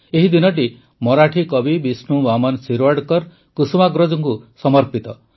ଏହି ଦିନଟି ମରାଠୀ କବି ବିଷ୍ଣୁ ବାମନ ଶିରୱାଡକର କୁସୁମାଗ୍ରଜଙ୍କୁ ସମର୍ପିତ